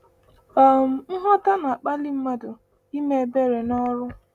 um Nghọta na-akpali mmadụ ime ebere n’ọrụ.